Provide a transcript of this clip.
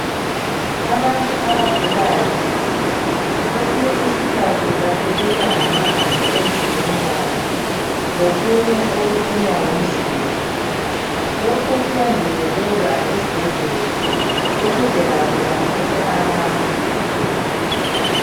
Abantu abagulayo kwesinye isikhathi baphelelwa ngamanzi emzimbeni wabo lokunye okufunwa ngumzimba. Lokhu kuyangezelelwa esibhedlela ukuze labo bathole amandla.